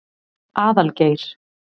Aðalgeir